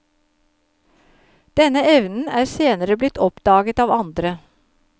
Denne evnen er senere blitt oppdaget av andre.